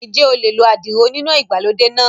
Ǹjẹ́ o lè lo àdìrò oníná ìgbàlódé náà?